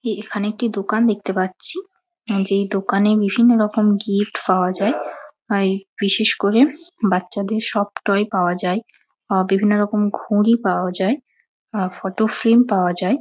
এ এখানে একটি দোকান দেখতে পাচ্ছি যে দোকানে বিভিন্ন রকম গিফট পাওয়া যায় আর বিশেষ করে বাচ্চাদের সব টয় পাওয়া যায় আর বিভিন্ন রকম ঘুড়ি পাওয়া যায় আর ফটোফ্রেম পাওয়া যায়।